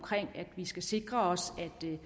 at vi skal sikre os